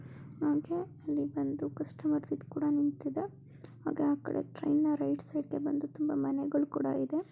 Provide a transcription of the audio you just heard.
ಹಾಗೆ ಅಲ್ಲಿ ಬಂದು ಕೂಡ ನಿಂತಿದೆ. ಹಾಗೆ ಆಕಡೆ ಟ್ರೈನ್ ನ ರೈಟ್ ಸೈಡ್ ಗೆ ಬಂದು ತುಂಬ ಮನೆಗಳು ಕೂಡ ಇದೆ.